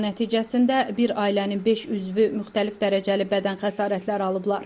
Qəza nəticəsində bir ailənin beş üzvü müxtəlif dərəcəli bədən xəsarətləri alıblar.